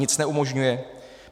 Nic neumožňuje?